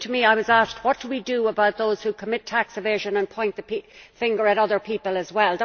It seemed to me that I was asked what we do about those who commit tax evasion and point the finger at other people as well.